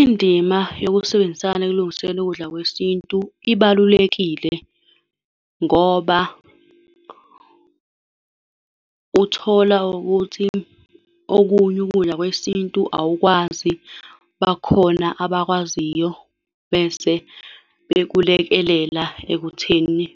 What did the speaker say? Indima yokusebenzisana ekulungiseni ukudla kwesintu ibalulekile, ngoba uthola ukuthi okunye ukudla kwesintu awukwazi. Bakhona abakwaziyo, bese bekulekelela ekutheni